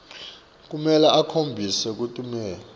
kumele akhombise kutinikela